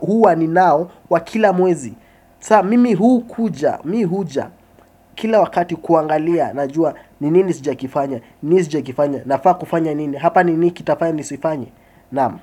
huwa ninao wa kila mwezi sasa mimi hukuja, mimi huja kila wakati kuangalia najua ni nini sijakifanya ni nini sijakifanya nafaa kufanya nini hapa ni nini kitafanya nisifanye Naam.